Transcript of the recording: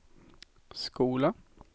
skola